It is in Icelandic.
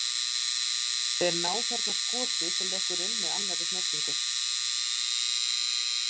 Þeir ná þarna skoti sem lekur inn með annari snertingu.